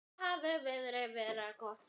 Enda hafi veðrið verið gott.